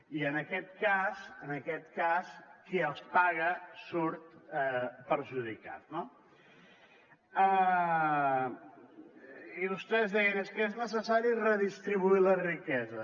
i en aquest cas en aquest cas qui els paga surt perjudicat no i vostès deien és que és necessari redistribuir la riquesa